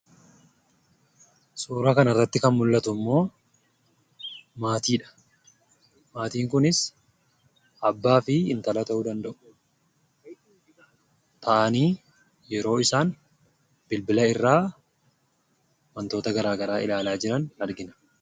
Suuraan kanarratti kan mul'atu immoo maatidha maatiin kunis abbaa fi intala ta'uu danda'u. Isaanis taa'anii yeroo bilbila irraa wantoota garaa garaa ilaala jiran argina.